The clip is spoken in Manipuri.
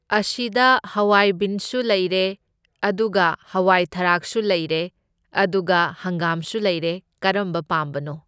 ꯑꯁꯤꯗ ꯍꯋꯥꯏ ꯕꯤꯟꯁꯨ ꯂꯩꯔꯦ, ꯑꯗꯨꯒ ꯍꯋꯥꯏ ꯊꯔꯥꯛꯁꯨ ꯂꯩꯔꯦ, ꯑꯗꯨꯒ ꯍꯪꯒꯥꯝꯁꯨ ꯂꯩꯔꯦ, ꯀꯔꯝꯕ ꯄꯥꯝꯕꯅꯣ?